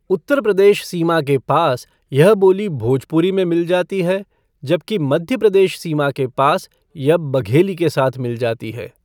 उत्तर प्रदेश सीमा के पास, यह बोली भोजपुरी में मिल जाती है, जबकि मध्य प्रदेश सीमा के पास यह बघेली के साथ मिल जाती है।